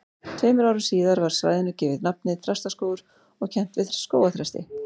Tveimur árum síðar var svæðinu gefið nafnið Þrastaskógur og kennt við skógarþresti.